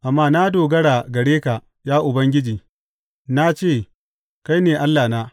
Amma na dogara gare ka, ya Ubangiji; na ce, Kai ne Allahna.